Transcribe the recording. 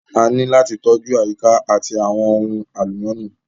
A ní láti tọ́jú àyíká àti àwọn ohun àlùmọ́ọ́nì